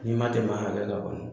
N'i ma tɛmɛ a hakɛ kan kɔnɔ.